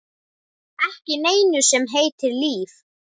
Ekki neinu sem heitir líf.